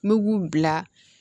N'u b'u bila